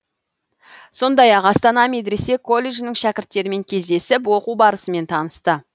сондай ақ астана медресе колледжінің шәкірттерімен кездесіп оқу барысымен танысты